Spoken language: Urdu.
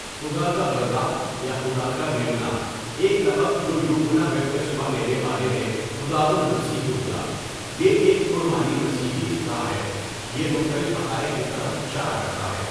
خُدا کا بَرّہ یا خدا کا میمنہ ایک لقب جو یوحنا بپتسمہ دینے والے نے خداوند مسیح کو دیا یہ ایک پُر معنی مسیحی اصطلاح ہے یہ مختلف حقائق کی طرف اشارہ کرتا ہے.